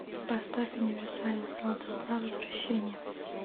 поставь универсальный солдат два возвращение